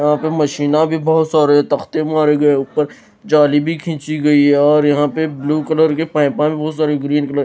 यहां पे मशीना भी बहोत सारे तख्ते मारे गए ऊपर जाली भी खींची गई है और यहां पे ब्लू कलर के पाइपा भी बहुत सारी ग्रीन कलर --